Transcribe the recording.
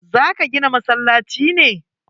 Za ka gina masallaci ne?